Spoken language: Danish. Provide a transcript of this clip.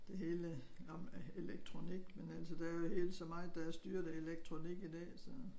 Det hele handler om elektronik men altså der jo helt så meget der er styret af elektronik i dag så